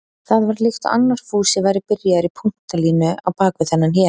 Það var líkt og annar Fúsi væri byrjaður í punktalínu á bak við þennan hér.